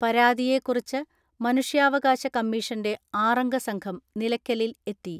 പരാതിയെക്കുറിച്ച് മനുഷ്യാവകാശ കമ്മീഷന്റെ ആറംഗ സംഘം നിലക്കലിൽ എത്തി.